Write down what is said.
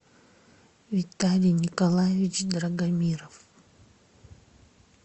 виталий николаевич драгомиров